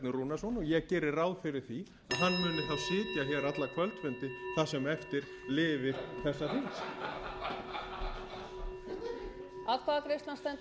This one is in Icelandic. rúnarsson og ég geri ráð fyrir því að hann muni þá sitja hér alla kvöldfundi það sem eftir lifir þessa þings